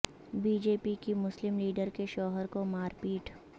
be J P کی مسلم leader کے شوہر کو مار پیٹ